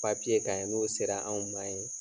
kan n'o sera anw ma ye.